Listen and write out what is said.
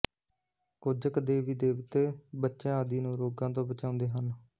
ਕੁੱਝ ਕੁ ਦੇਵੀ ਦੇਵਤੇ ਬੱਚਿਆਂ ਆਦਿ ਨੂੰ ਰੋਗਾਂ ਤੋਂ ਬਚਾਉਂਦੇ ਹਨ